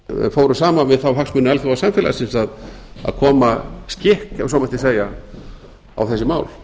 fóru saman við þá hagsmuni alþjóðasamfélagsins að koma skikk ef svo mætti segja á þessi mál